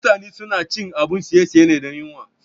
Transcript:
Mutane suna cin abun ciye-ciye ne dan yuwan.